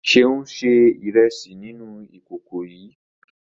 Ṣeun se iresi nínú ìkòkò yii